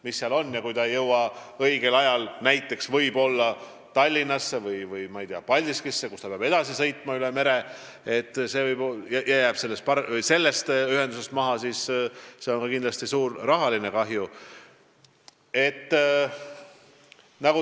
Kui selline reka ei jõua õigel ajal näiteks Tallinnasse või Paldiskisse, kust ta peab edasi sõitma üle mere, ja jääb maha, siis toob see kindlasti suure rahalise kahju.